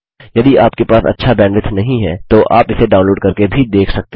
यदि आपके पास अच्छा बैन्डविड्थ नहीं है तो आप इसे डाउनलोड़ करके भी देख सकते हैं